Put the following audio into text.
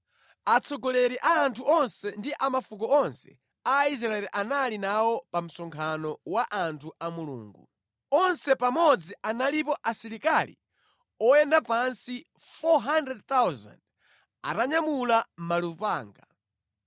Atsogoleri a anthu onse ndi a mafuko onse Aisraeli anali nawo pa msonkhano wa anthu a Mulungu. Onse pamodzi analipo asilikali oyenda pansi 400,000 atanyamula malupanga.